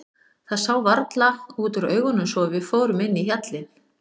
Það sá varla út úr augunum svo að við fórum inn í hjallinn.